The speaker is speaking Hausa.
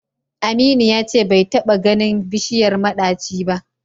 Aminu ya ce bai taɓa ganin bishiyar maɗaci ba da.